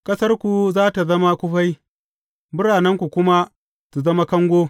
Ƙasarku za tă zama kufai, biranenku kuma su zama kango.